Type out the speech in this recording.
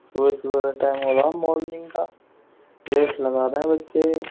सुबह-सुबह का टाइम हो रहा है मॉर्निंग का रेस लगा रहे हैं बच्चे।